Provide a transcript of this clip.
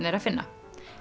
er að finna